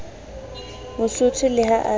mosotho le ha a se